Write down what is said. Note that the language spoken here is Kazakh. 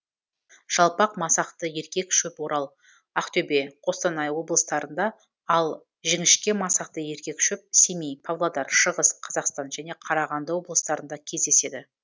жалпақ масақты еркек шөп орал ақтөбе қостанай облыстарыңда ал жіңіщке масақты еркек шөп семей павлодар шығыс қазақстан және қарағанды облыстарында кездеседі